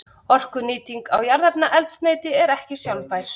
Orkunýting á jarðefnaeldsneyti er ekki sjálfbær.